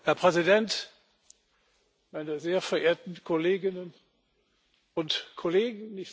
Herr Präsident, meine sehr verehrten Kolleginnen und Kollegen!